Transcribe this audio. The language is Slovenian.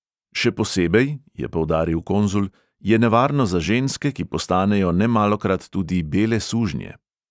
Še posebej,' je poudaril konzul, 'je nevarno za ženske, ki postanejo nemalokrat tudi bele sužnje.'